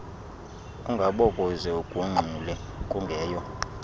ungabokuze ugungxule kungeyo